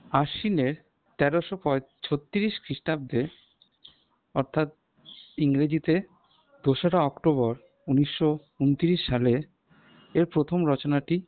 আশ্বিনের তেরোশো পয় ছত্রিশ খ্রীষ্টাব্দে অর্থাৎ ইংরেজিতে দোসরা october ঊনিশো ঊনত্রিশ সালে এর প্রথম রচনাটি